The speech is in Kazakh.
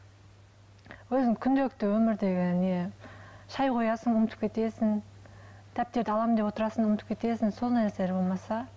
өзім күнделікті өмірдегі не шай қоясың ұмытып кетесің дәптерді аламын деп отырасың ұмытып кетесің сондай нәрселер болмаса